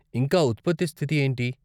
ఇంకా ఉత్పత్తి స్థితి ఏంటి?